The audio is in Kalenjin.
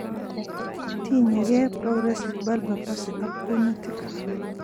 Tinyegei progressive bulbar palsy ak kunyutik